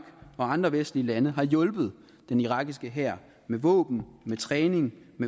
og andre vestlige lande har hjulpet den irakiske hær med våben træning